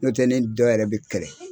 N'otɛ ni dɔ yɛrɛ bɛ kɛlɛ